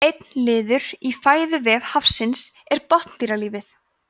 einn liður í fæðuvef hafsins er botndýralífið